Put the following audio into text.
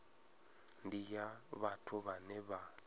ndi ya vhathu vhane vha